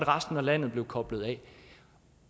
resten af landet var koblet af